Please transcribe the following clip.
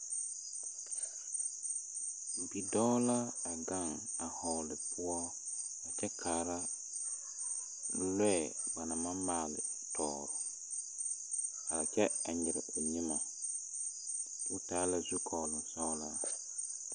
Bidɔɔ la a gaŋ vɔgle poɔ kyɛ kaara lɔɛ ba naŋ maŋ maali tɔgle a kyɛ nyare o nyɛme o taa la zukɔɔglo sɔglo.